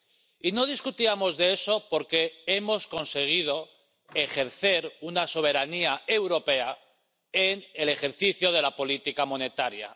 Y no discutíamos de eso porque hemos conseguido ejercer una soberanía europea en el ejercicio de la política monetaria.